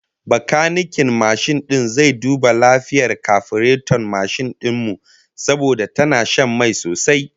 Bakaniken mashin din zai duba lafiyar kafireton mashin din mu, saboda tana shan mai sosai